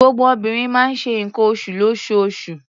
Gbogbo obìnrin máa ń ṣe nǹkan oṣù lóṣooṣù.